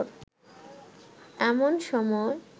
এমন সময়